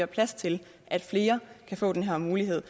plads til at flere kan få den her mulighed